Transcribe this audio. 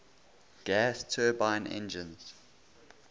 gas turbine engines